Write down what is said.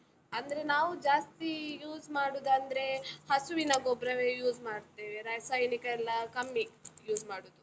ಅಂದ್ರೆ ನಾವು ಜಾಸ್ತಿ use ಮಾಡುದಂದ್ರೆ, ಹಸುವಿನ ಗೊಬ್ರವೇ use ಮಾಡ್ತೇವೆ, ರಾಸಾಯನಿಕ ಎಲ್ಲ ಕಮ್ಮಿ, use ಮಾಡುದು.